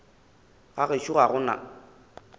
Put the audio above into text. ga gešo ga go na